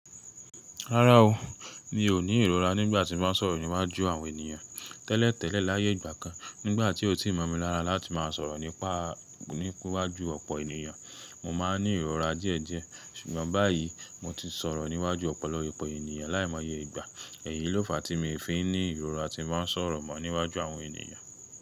Rárá o, mi ò ní ìrora nígbà tí mo ń sọ̀rọ̀ níwájú àwọn ènìyàn tẹ́lẹ̀tẹ́lẹ̀ láyé ìgbà kan. Nígbà tí ó ti mọ̀ mi lára láti máa sọ̀rọ̀ nípa ní wájú ọ̀pọ̀ ènìyàn, mo máa ń ní ìrora díẹ̀díẹ̀. Ṣùgbọ́n báyìí mo ti sọ̀rọ̀ níwájú ọ̀pọ̀lọpọ̀ ènìyàn láìmọye ìgbà. Èyí ló fa tí mi fi nní ìrora tí màá ń sọ̀rọ̀ mọ́ níwájú àwọn ènìyàn.